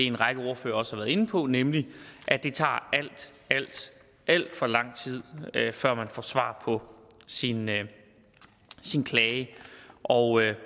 en række ordførere også har været inde på nemlig at det tager alt alt for lang tid før man får svar på sin klage og